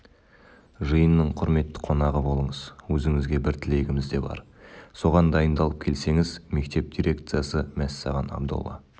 жиынның құрметті қонағы болыңыз өзіңізге бір тілегіміз де бар соған дайындалып келсеңіз мектеп дирекциясы мәссаған абдолла